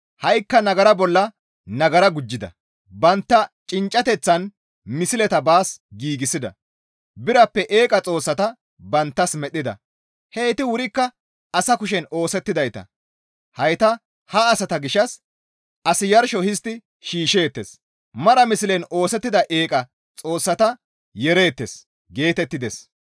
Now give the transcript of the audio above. Ha7ikka nagara bolla nagara gujjida; bantta cinccateththan misleta baas giigsida; birappe eeqa xoossata banttas medhdhida; heyti wurikka asa kushen oosettidayta; hayta ha asata gishshas, «As yarsho histti shiishsheettes; mara mislen oosettida eeqa xoossata yeereettes» geetettides.